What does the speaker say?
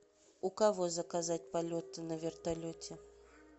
у кого заказать полеты на вертолете